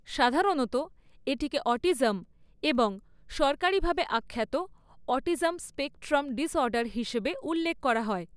সাধারণত এটাকে অটিজম এবং সরকারীভাবে আখ্যাত অটিজম স্পেকট্রাম ডিসঅর্ডার হিসাবে উল্লেখ করা হয়।